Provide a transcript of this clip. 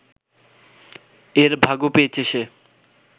এর ভাগও পেয়েছে সে